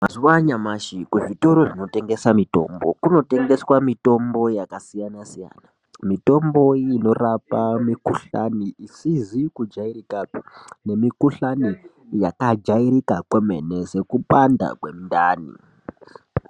Mazuva anyamashi kuzvitoro zvinotengesa mitombo kunotengeswa Mitombo yakasiyana siyana mitombo inorapa mikuhlani isizi kujairikapi nemikuhlani yakajairika kwemene sekupanda kwemundani.